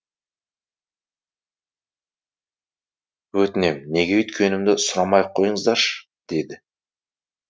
өтінем неге өйткенімді сұрамай ақ қойыңыздаршы деді